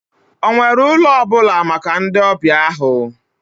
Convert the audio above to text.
Ọ nwere ụlọ ọ bụla maka ndị ọbịa ahụ?